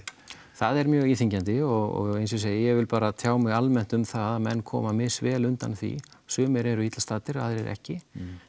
það er mjög íþyngjandi og eins og ég segi ég vil bara tjá mig almennt um það að menn koma misvel undan því sumir eru illa staddir aðrir ekki